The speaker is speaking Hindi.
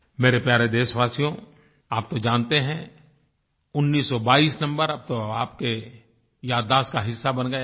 मेरे प्यारे देशवासियो आप तो जानते हैं उन्नीस सौ बाईस नम्बर अब तो आपके याददाश्त का हिस्सा बन गया है